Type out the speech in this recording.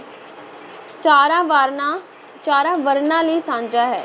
ਚਾਰਾਂ ਵਰਨਾਂ, ਚਾਰਾ ਵਰਨਾਂ ਲਈ ਸਾਂਝਾ ਹੈ।